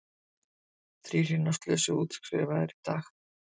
Þrír hinna slösuðu útskrifaðir í dag